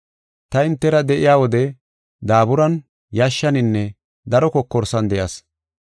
Ta hintera de7iya wode daaburan, yashshaninne daro kokorsan de7as.